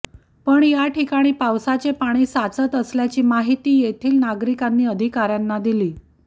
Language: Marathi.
पण या ठिकाणी पावसाचे पाणी साचत असल्याची माहिती येथील नागरिकांनी अधिकाऱयांना दिली